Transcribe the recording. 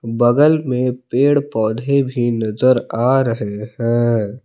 बगल में पेड़ पौधे भी नजर आ रहे हैं।